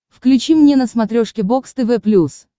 включи мне на смотрешке бокс тв плюс